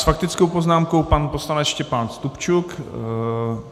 S faktickou poznámkou pan poslanec Štěpán Stupčuk.